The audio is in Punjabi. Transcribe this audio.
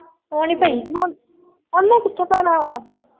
ਉਹ ਨੀ ਪਈ। ਓਹਨੇ ਕਿਥੋਂ ਪੈਣਾ ਵਾ।